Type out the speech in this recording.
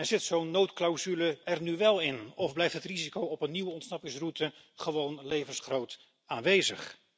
Zit zo'n noodclausule er nu wel in of blijft het risico op een nieuwe ontsnappingsroute gewoon levensgroot aanwezig?